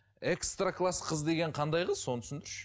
экстар класс қыз деген қандай қыз соны түсіндірші